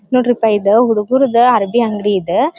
ನೊಡ್ರಿಪ ಇದು ಹುಡುಗುರದು ಅರ್ಬಿ ಅಂಗಡಿ ಇದು --